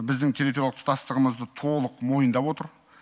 біздің территориялық тұтастығымызды толық мойындап отыр